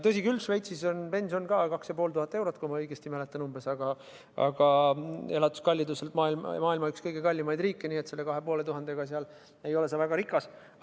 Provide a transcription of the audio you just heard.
Tõsi, Šveitsis on pension umbes 2500 eurot – kui ma õigesti mäletan –, aga elukalliduselt on see üks maailma kõige kallimaid riike, nii et 2500 euroga ei olda seal väga rikas.